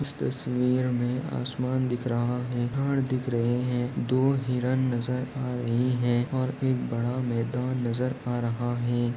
इस तस्वीर मे आसमान दिख रहा है घर दिख रहे है दो हिरण नजर आ रही है और एक बड़ा मैदान नजर आ रहा है।